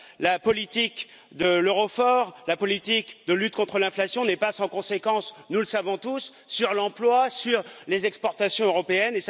La politique de l'euro fort, la politique de lutte contre l'inflation ne sont pas sans conséquences, nous le savons tous, sur l'emploi et sur les exportations européennes.